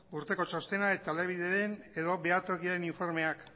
urteko txostena eta edo behatokiaren informeak